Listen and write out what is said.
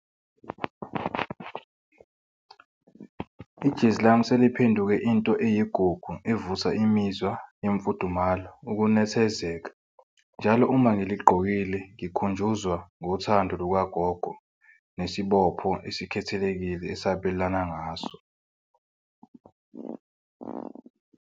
Ijezi lami seliphenduke into eyigugu evusa imizwa yemfudumalo ukunethezeka. Njalo uma ngiligqokile ngikhunjuzwa ngothando lukagogo nesibopho esikhethelekile esabelane ngaso.